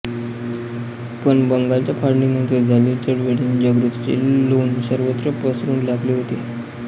पण बंगालच्या फाळणीनंतर झालेल्या चळवळीने जागृतीचे लोन सर्वत्र पसरू लागले होते